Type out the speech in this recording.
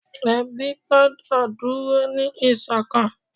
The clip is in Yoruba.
ebi gbọdọ dúró ni iṣọkan